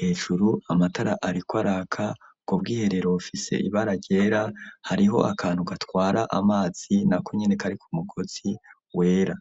hejuru amatara ariko araka ubwo bwiherero bufise ibara ryera hariho akantu gatwara amazi na konyene kari ku mugozi wera.